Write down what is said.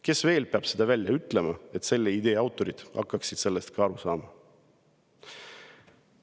Kes veel peab seda ütlema, et ka selle idee autorid hakkaksid sellest aru saama?